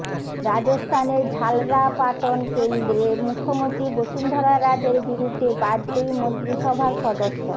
রাজস্থানের ঝালরাপাটন কেন্দ্রে মুখ্যমন্ত্রী বসুন্ধরা রাজের বিরুদ্ধে বাজপেয়ী মন্ত্রিসভার সদস্য